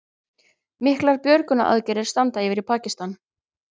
Miklar björgunaraðgerðir standa yfir í Pakistan